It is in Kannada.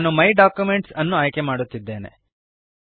ನಾನು ಮೈ ಡಾಕ್ಯುಮೆಂಟ್ಸ್ ಅನ್ನು ಆಯ್ಕೆಮಾಡುತ್ತಿದ್ದೇನೆ